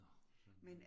Nåh for søren